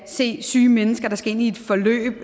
se syge mennesker der skal ind i et forløb